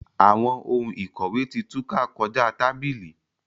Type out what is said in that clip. Awọn òun ikọwe ti túká kọja tábìlì.